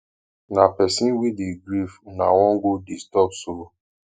na pesin wey dey grief una wan go disturb so